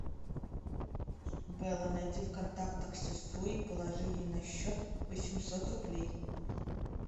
белла найди в контактах сестру и положи ей на счет восемьсот рублей